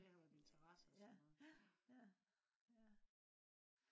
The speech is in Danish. det har været interesse og sådan noget